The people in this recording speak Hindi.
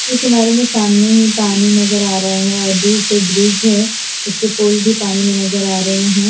इस इमारत में सामने ही पानी नजर आ रहा है और दूर से ब्रिज है उसके पोल भी पानी में नजर आ रहे हैं।